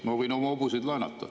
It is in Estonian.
Ma võin oma hobuseid laenata.